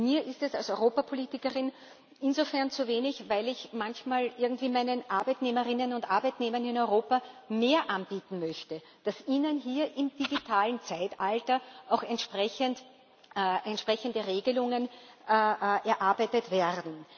Mir ist es als Europapolitikerin insofern zu wenig, als ich manchmal irgendwie meinen Arbeitnehmerinnen und Arbeitnehmern in Europa mehr anbieten möchte, dass ihnen hier im digitalen Zeitalter auch entsprechende Regelungen erarbeitet werden.